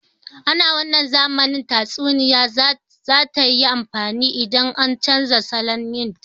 Ana wannan zamanin tatsuniya za tayi amfani idan an canja salon yin ta